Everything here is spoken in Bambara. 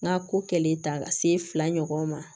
N ka ko kɛlen ta ka se fila ɲɔgɔn ma